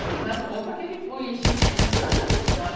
Tinha umas roupa que ele punha enchimento.